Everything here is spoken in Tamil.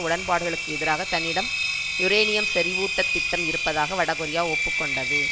உடன்பாடுகளுக்கு எதிராக தன்னிடம் யுரேனியம் செறிவூட்ட திட்டம் இருப்பதாக வடகொரியா ஒப்பு கொண்டது